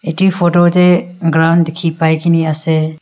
tu photo tae ground dikhi pai kaene ase.